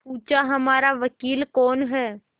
पूछाहमारा वकील कौन है